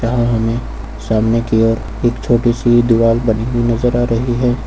आंगन में सामने की ओर एक छोटी सी दीवाल बनी हुई नजर आ रही है।